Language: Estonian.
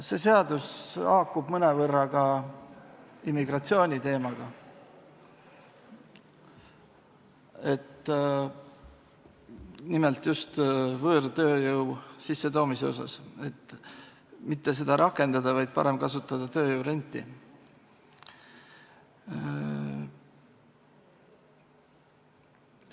See haakub mõnevõrra ka immigratsiooniteemaga, nimelt võõrtööjõu sissetoomise kohapealt, et mitte seda rakendada, vaid parem kasutada tööjõurenti.